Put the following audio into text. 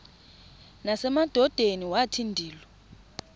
nasemadodeni wathi ndilu